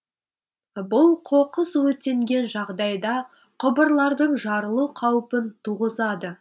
бұл қоқыс өртенген жағдайда құбырлардың жарылу қаупін туғызады